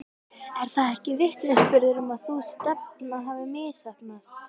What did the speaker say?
Er það ekki vitnisburður um að sú stefna hafi misheppnast?